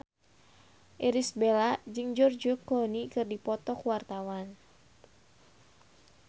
Irish Bella jeung George Clooney keur dipoto ku wartawan